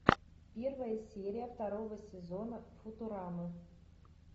первая серия второго сезона футурамы